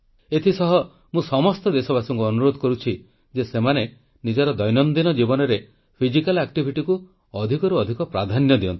ଏଥିସହ ମୁଁ ସମସ୍ତ ଦେଶବାସୀଙ୍କୁ ଅନୁରୋଧ କରୁଛି ଯେ ସେମାନେ ନିଜର ଦୈନନ୍ଦିନ ଜୀବନରେ ଫିଜିକାଲ୍ ଆକ୍ଟିଭିଟିକୁ ଅଧିକରୁ ଅଧିକ ପ୍ରାଧାନ୍ୟ ଦିଅନ୍ତୁ